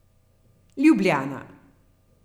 Ljubljana.